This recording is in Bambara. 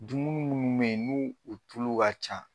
Dununi minnu bɛ yen ni o tulu ka ca.